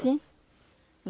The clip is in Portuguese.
Sim.